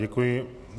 Děkuji.